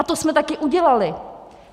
A to jsme taky udělali.